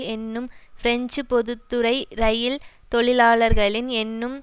என்னும் பிரெஞ்சு பொது துறை இரயில் தொழிலாளர்களின் என்னும்